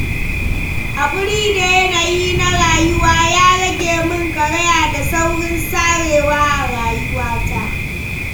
Haƙuri da yanayi na rayuwa, ya rage mun karaya da saurin sarewa a rayuwata.